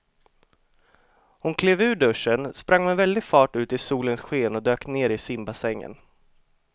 Hon klev ur duschen, sprang med väldig fart ut i solens sken och dök ner i simbassängen.